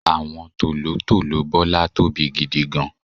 àwọn tòlótòló Bola tóbi gidigan